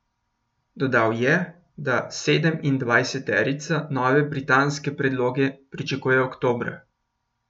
Dodal je, da sedemindvajseterica nove britanske predloge pričakuje oktobra.